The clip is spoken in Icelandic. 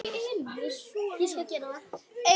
Þín, Margrét Þóra.